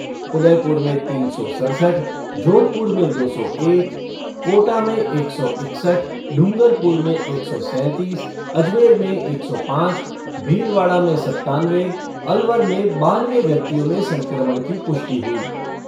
उदयपुर में तीन सौ सड़सठ, जोधपुर में दो सौ एक, कोटा में एक सौ इकसठ, डूंगरपुर में एक सौ सैंतीस, अजमेर में एक सौ पाँच, भीलवाड़ा में सत्तानवे, अलवर में बानवे व्यक्तियों में संक्रमण की पुष्टि हुई।